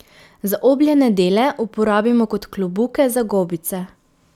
Zaobljene dele uporabimo kot klobuke za gobice.